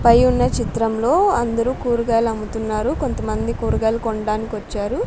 పై ఉన్న చిత్రంలో అందరూ కూరగాయలు అమ్ముతున్నారు కొంతమంది కూరగాయలు కొనడానికి వచ్చారు.